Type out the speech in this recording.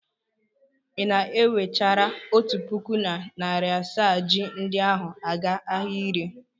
Ị na-ewechara otu puku na narị asaa ji ndi ahụ aga ahịa ire?